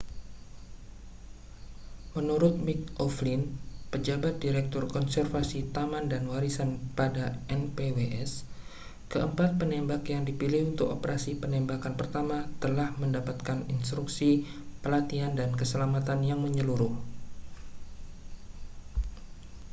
menurut mick o'flynn pejabat direktur konservasi taman dan warisan pada npws keempat penembak yang dipilih untuk operasi penembakan pertama telah mendapatkan instruksi pelatihan dan keselamatan yang menyeluruh